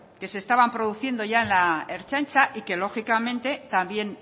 que se estaba produciendo ya en la ertzaintza y que lógicamente también